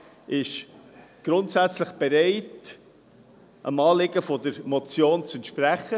Der Regierungsrat ist grundsätzlich bereit, dem Anliegen der Motion zu entsprechen.